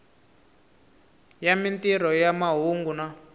ya mintirho ya mahungu na